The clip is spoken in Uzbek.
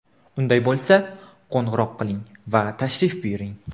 Unday bo‘lsa, qo‘ng‘iroq qiling va tashrif buyuring!